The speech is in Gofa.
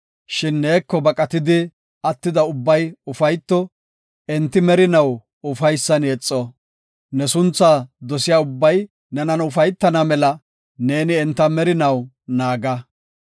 Shin neeko baqatidi attida ubbay ufayto; enti merinaw ufaysan yexo. Ne sunthaa dosiya ubbay nenan ufaytana mela; neeni enta merinaw naaga.